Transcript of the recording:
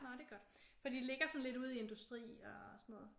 Nå det er godt fordi de ligger sådan lidt ude i industri og sådan noget